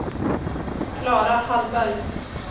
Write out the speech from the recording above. Klara Hallberg